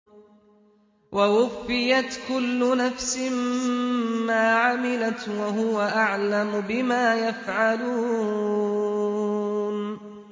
وَوُفِّيَتْ كُلُّ نَفْسٍ مَّا عَمِلَتْ وَهُوَ أَعْلَمُ بِمَا يَفْعَلُونَ